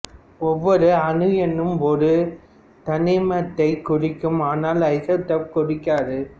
ஒவ்வொரு அணு எண்ணும் ஒரு தனிமத்தைக் குறிக்கும் ஆனால் ஐசோடோப்பை குறிக்காது